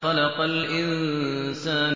خَلَقَ الْإِنسَانَ